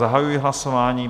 Zahajuji hlasování.